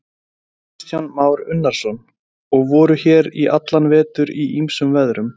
Kristján Már Unnarsson: Og voruð hér í allan vetur í ýmsum veðrum?